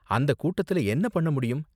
அந்த கூட்டத்துல என்ன பண்ண முடியும்.